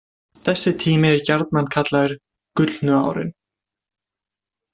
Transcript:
Þessi tími er gjarnan kallaður „gullnu árin“.